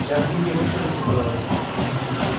я в мини вообще-то собиралась